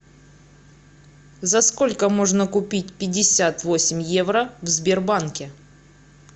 за сколько можно купить пятьдесят восемь евро в сбербанке